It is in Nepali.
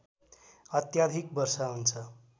अत्याधिक वर्षा हुन्छ